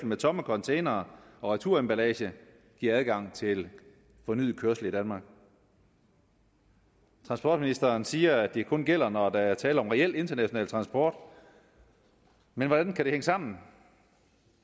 med tomme containere og returemballage giver adgang til fornyet kørsel i danmark transportministeren siger at det kun gælder når der er tale om reel international transport men hvordan kan det hænge sammen